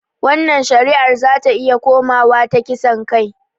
Wannan shari'ar zata iya komawa ta kisan kai